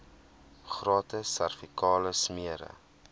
gratis servikale smere